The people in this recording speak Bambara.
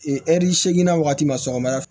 ɛri seeginna wagati ma sɔgɔmada fɛ